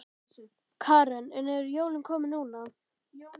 Karen: En eru jólin komin núna?